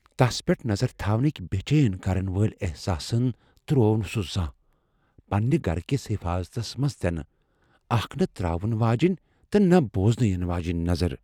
تس پیٹھ نظر تھونٕكۍ بے چین کرن وٲلۍ احساسن تر٘وو نہٕ سُہ زانٛہہ ، پننہِ گھرٕ كِس حیفاضتس منز تہِ نہٕ ، اكھ نہٕ تر٘اون واجنۍ، نہٕ بوزنہٕ یِنہٕ واجنۍ نظر ۔